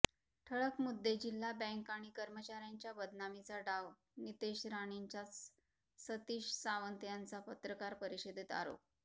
ठळक मुद्देजिल्हा बँक आणि कर्मचाऱ्यांच्या बदनामीचा डाव नितेश राणेंचाचसतीश सावंत यांचा पत्रकार परिषदेत आरोप